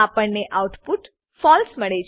આપણને આઉટપુટ ફળસે